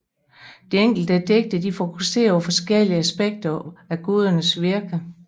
De enkelte digte fokuserer på forskellige aspekter af gudernes virke